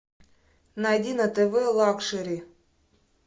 найди на тв лакшери